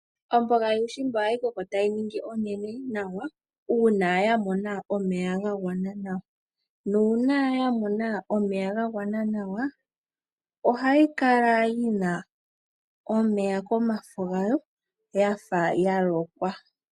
Omboga yuushimba ohayi koko tayi ningi onene nawa uuna yamona omeya ga gwana nawa nuuna yamona omeya ga gwana nawa ohayi kala yina omeya komafo gayo yafa yalokwa.